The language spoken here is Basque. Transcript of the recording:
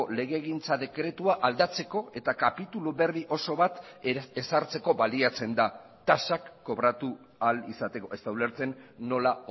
legegintza dekretua aldatzeko eta kapitulu berri oso bat ezartzeko baliatzen da tasak kobratu ahal izateko ez da ulertzen nola